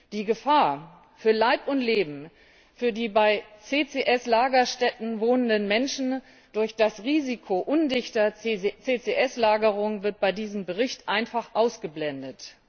Die Gefahr für Leib und Leben für die bei CCS Lagerstätten wohnenden Menschen durch das Risiko undichter CCS Lagerung wird bei diesem Bericht einfach ausgeblendet.